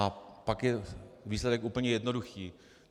A pak je výsledek úplně jednoduchý.